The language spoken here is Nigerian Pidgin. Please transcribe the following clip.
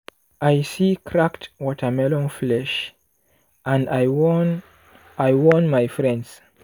i see cracked watermelon flesh and i warn i warn my friends.